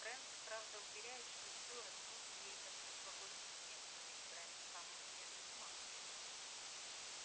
брент правда уверяет что стюарт нужен ей как прошлогодний снег но ведь брент сам от неё без ума